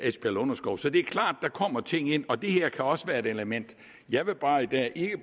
lunderskov så det er klart der kommer ting ind og det her kan også være et element jeg vil bare ikke i